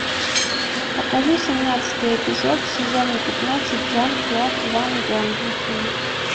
покажи семнадцатый эпизод сезона пятнадцать жан клод ван джонсон